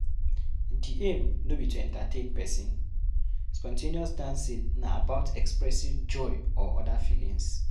Di aim no be to entertain person, spon ten ous dancing na about expressing joy or oda feelings